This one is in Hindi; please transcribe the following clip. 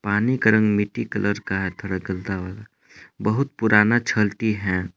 पानी का रंग मिट्टी कलर का है थोड़ा गंदा वाला बहुत पुराना छलकी है।